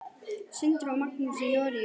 Sindri og Magnús í Noregi.